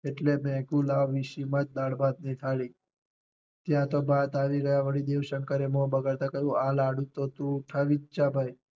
એટલે મેં કીધું લાવ વીછી માં જ દાળ ભાત ની થાળી ત્યાં તો ભાત આવી ગયા વળી દેવ શંકરે મોં બગાડતાં કહ્યું આ લાડુ તો તું ઉઠાવી જ જા ભાઈ